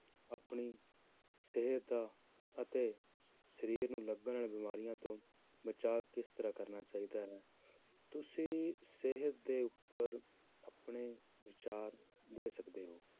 ਆਪਣੀ ਸਿਹਤ ਅਤੇ ਸਰੀਰ ਨੂੰ ਲੱਗਣ ਵਾਲੀ ਬਿਮਾਰੀਆਂ ਤੋਂ ਬਚਾ ਕਿਸ ਤਰ੍ਹਾਂ ਕਰਨਾ ਚਾਹੀਦਾ ਹੈ, ਤੁਸੀਂ ਸਿਹਤ ਦੇ ਉੱਪਰ ਆਪਣੇ ਵਿਚਾਰ ਦੇ ਸਕਦੇ ਹੋ